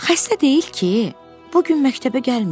Xəstə deyil ki, bu gün məktəbə gəlməyib.